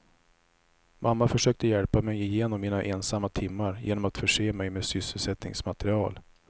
Mamma försökte hjälpa mig igenom mina ensamma timmar genom att förse mig med sysselsättningsmaterial.